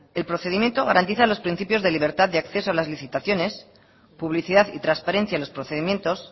el procedimiento garantiza los principios de libertad de acceso a las licitaciones publicidad y transparencia en los procedimientos